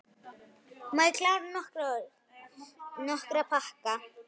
Nokkra pakka.